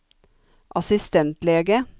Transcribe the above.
assistentlege